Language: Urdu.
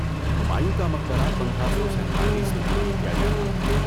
ہمایوں کا مقبرہ پندرہ سو سینتالیس میں تعمیر کیا گیا تھا